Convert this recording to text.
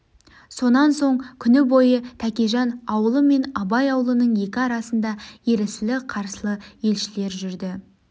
сонан соң құні бойы тәкежан аулы мен абай аулының екі арасында ерсілі-қарсылы елшілер жүрді